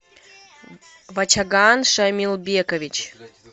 вачаган шамилбекович